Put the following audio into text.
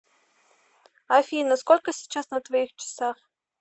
афина сколько сейчас на твоих часах